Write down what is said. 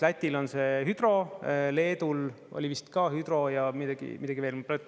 Lätil on see hüdro, Leedul oli vist ka hüdro ja midagi veel.